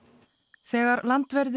þegar landverðir